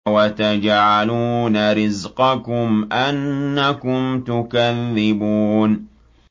وَتَجْعَلُونَ رِزْقَكُمْ أَنَّكُمْ تُكَذِّبُونَ